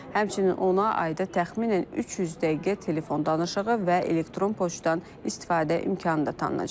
Həmçinin ona ayda təxminən 300 dəqiqə telefon danışığı və elektron poçtdan istifadə imkanı da tanınacaq.